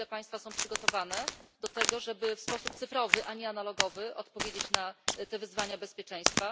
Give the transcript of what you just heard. Na ile państwa są przygotowane do tego, żeby w sposób cyfrowy, a nie analogowy odpowiedzieć na te wyzwania bezpieczeństwa?